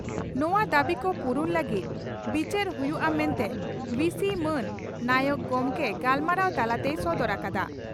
ᱱᱚᱣᱟ ᱫᱟᱵᱤᱠᱚ ᱯᱩᱨᱩᱱ ᱞᱟᱹᱜᱤᱫ ᱵᱤᱪᱟᱹᱨ ᱦᱩᱭᱩᱜᱼᱟ ᱢᱮᱱᱛᱮ ᱵᱦᱤᱹᱥᱤ ᱢᱟᱱ ᱱᱟᱭᱚᱠ ᱜᱚᱢᱠᱮ ᱜᱟᱞᱢᱟᱨᱟᱣ ᱛᱟᱞᱟ ᱛᱮᱭ ᱥᱚᱫᱚᱨ ᱟᱠᱟᱫᱼᱟ ᱾